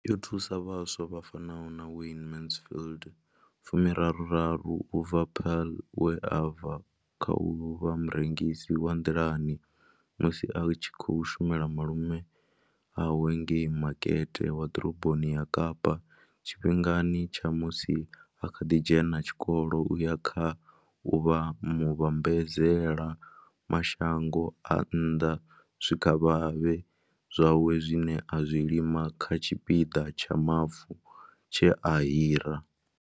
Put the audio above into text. Yo thusa vhaswa vha fanaho na Wayne Mansfield u bva Paarl, we a bva kha u vha murengisi wa nḓilani musi a tshi khou shumela malume awe ngei makete wa ḓoroboni ya Kapa tshifhingani tsha musi a kha ḓi dzhena tshikolo u ya kha u vha muvhambadzela mashango a nnḓa zwikavhavhe zwawe zwine a zwi lima kha tshipiḓa tsha mavu tshe a hira.